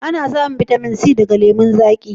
Ana samun bitamin C daga lemun zaƙi